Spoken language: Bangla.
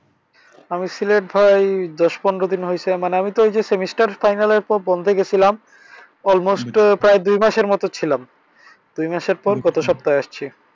আমি সিলেট ভাই দশ পনের দিন হইছে মানি আমিতো এই যে semester final এর পর বন্ধে গেছিলাম। almost প্রায় দুই মাসের মত ছিলাম। দুই মাসের পর গত সপ্তাহে আসছি।